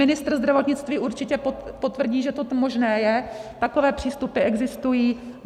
Ministr zdravotnictví určitě potvrdí, že toto možné je, takové přístupy existují.